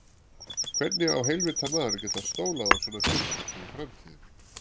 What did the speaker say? Hvernig á heilvita maður að geta stólað á svona fyrirtæki í framtíðinni?